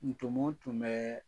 Ntomɔ tun bɛ